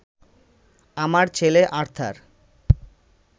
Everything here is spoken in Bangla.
আমার ছেলে আর্থার